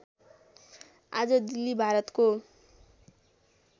आज दिल्ली भारतको